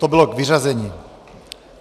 To bylo k vyřazení.